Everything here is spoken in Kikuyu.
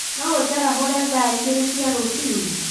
No njarahũra thaa igĩrĩ cia rũcinĩ